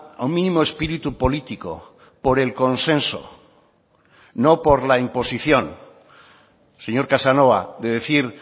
a un mínimo espíritu político por el consenso no por la imposición señor casanova de decir